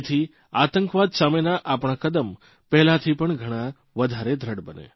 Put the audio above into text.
જેથી આતંકવાદ સામેના આપણા કદમ પહેલાથી પણ ઘણા વધારે દ્રઢ બને